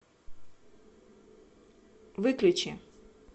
выключи